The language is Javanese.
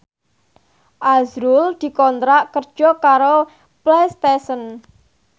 azrul dikontrak kerja karo Playstation